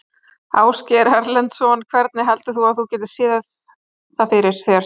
Ásgeir Erlendsson: Hvenær heldur þú að þú getir séð það fyrir þér?